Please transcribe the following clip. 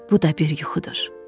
Bu da bir yuxudur.